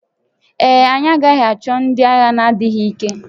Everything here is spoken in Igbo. Ee e, anyị agaghị achọ ndị agha na-adịghị ike